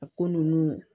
A ko ninnu